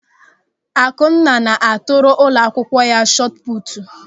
Akunna na-atụrụ ụlọakwụkwọ ya shọtụpụtụ.